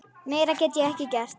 Meira get ég ekki gert.